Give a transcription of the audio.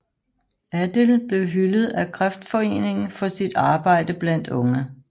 Adil blev hyldet af Kreftforeningen for sit arbejde blandt unge